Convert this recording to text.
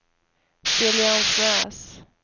Siljansnäs